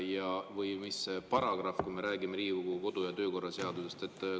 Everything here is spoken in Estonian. Ja mis paragrahv, kui me räägime Riigikogu kodu‑ ja töökorra seadusest?